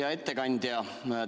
Hea ettekandja!